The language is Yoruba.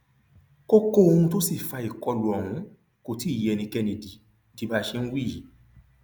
kókó ohun tó sì fa ìkọlù ọhún kò tí ì yé ẹnikẹni di di báa ṣe ń wí yìí